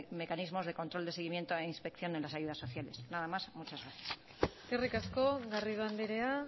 mecanismos de control de seguimiento e inspección en las ayudas sociales nada más y muchas gracias eskerrik asko garrido andrea